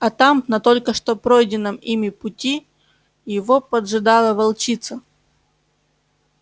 а там на только что пройденном ими пути его поджидала волчица